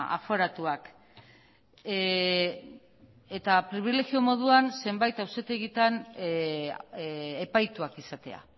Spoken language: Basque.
aforatuak eta pribilegio moduan zenbati auzitegietan epaituak izatea